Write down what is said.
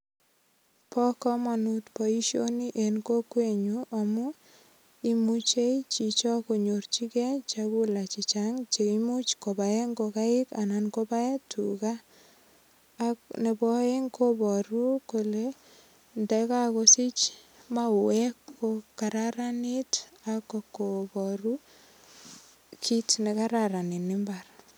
Bo kamanut boisioni en kokwet nyu amu imuche chicho konyorchige chegula che chang che imuch kobaen ngogaik anan kobaen tuga ak nebo aeng kobaru kole ndakagosich mauwek ko kararanit ak kobaru kit ne kararan eng imbar.